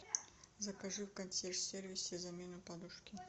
закажи в консьерж сервисе замену подушки